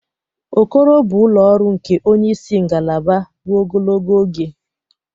Okoro bụ ụlọ ọrụ nke onye isi ngalaba ruo ogologo oge.